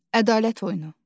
Ədalət oyunu.